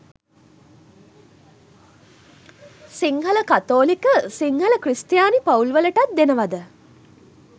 සිංහල කතෝලික සිංහල ක්‍රිස්තියානි පවුල් වලටත් දෙනවද?